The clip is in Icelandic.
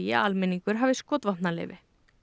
að almenningur hafi skotvopnaleyfi